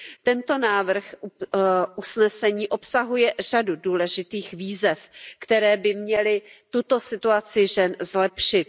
Tento návrh usnesení obsahuje řadu důležitých výzev, které by měly tuto situaci žen zlepšit.